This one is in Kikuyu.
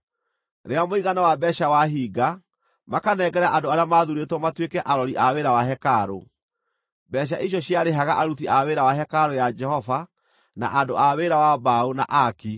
Rĩrĩa mũigana wa mbeeca wahinga, makanengera andũ arĩa maathuurĩtwo matuĩke arori a wĩra wa hekarũ. Mbeeca icio ciarĩhaga aruti a wĩra wa hekarũ ya Jehova na andũ a wĩra wa mbaũ, na aaki,